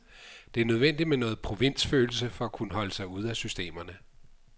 Det er nødvendigt med noget provinsfølelse for at kunne holde sig ude af systemerne.